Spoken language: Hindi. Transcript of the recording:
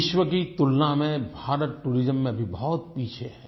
विश्व की तुलना में भारत टूरिज्म में अभी बहुत पीछे है